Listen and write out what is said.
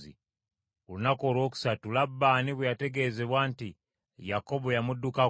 Ku lunaku olwokusatu Labbaani bwe yategeezebwa nti Yakobo yamuddukako,